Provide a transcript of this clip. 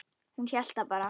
Hún hélt það bara.